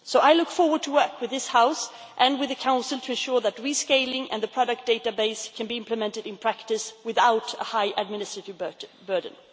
So I look forward to working with this House and with the Council to ensure that rescaling and the product database can be implemented in practice without a high administrative burden.